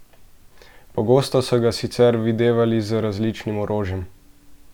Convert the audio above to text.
Pogosto so ga sicer videvali z različnim orožjem.